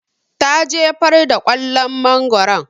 Ta jefar da kwallon mangoron